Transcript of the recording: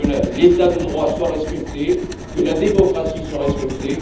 Il faut que l'état de droit soit respecté et que la démocratie soit respectée.